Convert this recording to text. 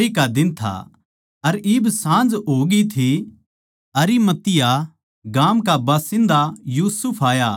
यो आराम कै दिन का एक दिन पैहले की तैयारी का दिन था अर इब साँझ हो गयी थी